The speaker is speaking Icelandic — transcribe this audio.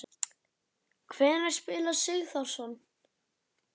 Hvenær spilar Sigþórsson?